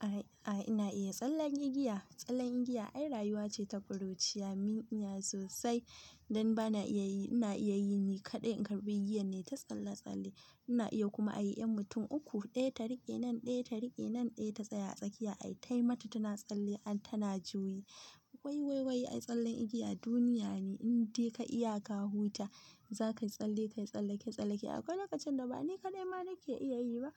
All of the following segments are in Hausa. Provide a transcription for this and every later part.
A'a, ina iya tsallen igiya. Tsallen igiya, ai rayuwa ce ta ƙuruciya. Min iya sosai. Dan ba na iya yi, ina iya yi ni kaɗai. Karɓi igiyan nayi ta tsalle-tsalle. Ina iya kuma a yi 'yan mutum uku, ɗaya ta riƙe nan, ɗaya ta riƙe nan, ɗaya ta tsaya a tsakiya. Ai, tayi mata tana tsalle an tana juyi. Wai wai wai ai tsallen igiya duniya ne. In dai ka iya ka huta, za ka yi tsalle, ka yi tsallake-tsallake akwai lokacin da ba ni kaɗai ma nake iya yi ba.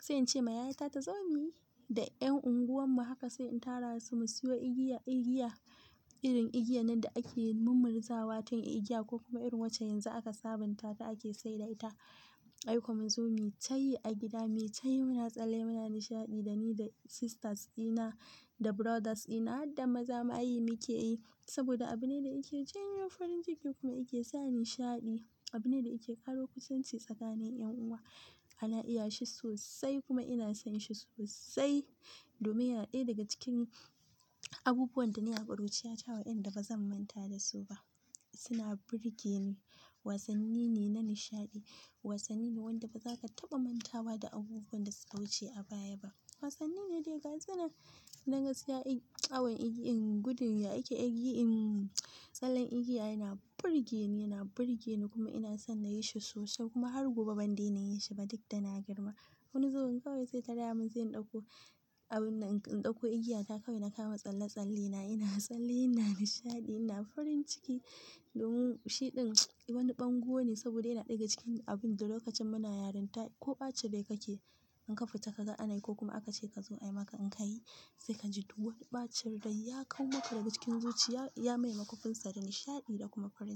Sai in ce ma yayata ta zo mu yi da 'yan unguwan mu. Haka sai in tara su mu siyo igiya, igiya. Irin igiyan nan da ake mummurzawa tun igiya ko kuma irin wacce yanzu aka sabunta ta ake saida ita. Ai ko mu zo mu yi tayi a gida. Mu yi tayi muna tsalle, muna nishaɗi da ni da sisters dina da brothers dina. Hadda maza ma yi muke yi. Saboda abu ne da yake janyo farin ciki kuma yake sa nishaɗi. Abu ne da yake ƙaro kusanci tsakanin 'yan uwa. Ana iya shi sosai kuma ina son shi sosai. Domin yana ɗaya daga cikin abubuwan dana yi a ƙuruciya ta waɗanda ba zan manta da su ba. Suna burge ni. Wasanni ne na nishaɗi. Wasanni ne wanda ba za ka taɓa mantawa da abubuwan da suka wuce a baya ba. Wasanni ne dai ga sunan, dan gasiya. Awan igi in gudun ya ake a yi. In tsallen igiya yana burge ni, yana burge ni kuma ina son na yi shi sosai kuma har gobe ban daina yi shi ba duk da na girma. Wani zubin kawai sai ta raya mun sai in ɗauko abun, in ɗauko igiya ta kawai na kama tsalle-tsalle. Na ina tsalle, ina nishaɗi, ina farin ciki. Domin shi ɗin wani ɓango ne saboda yana ɗaya cikin abun da lokacin muna yaranta ko ɓacin rai ka ke in ka fita ka ga anayi ko kuma aka ce ka zo ayi maka in ka yi sai ka ji duwan. Ɓacin rai ya kau maka daga cikin zuciya, ya maimaka kunsar da nishaɗi da kuma farin ciki.